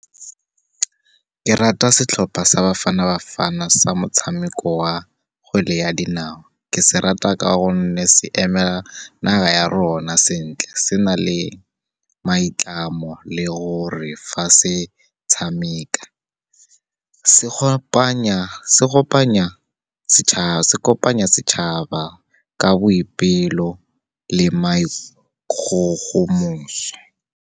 Ke rata setlhopha sa Bafana Bafana, sa motshameko wa kgwele ya dinao. Ke se rata ka gonne se eme naga ya rona sentle, se na le maitlamo, le gore fa se tshameka. Se kopanya setšhaba ka boipelo le maikgogomoso.